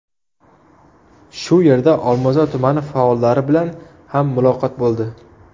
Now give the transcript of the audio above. Shu yerda Olmazor tumani faollari bilan ham muloqot bo‘ldi.